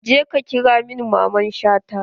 Je ka ƙira min Mamman Shata!